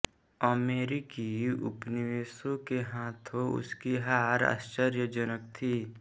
अमेरिकी उपनिवेशों के हाथों उसकी हार आश्चर्यजनक थी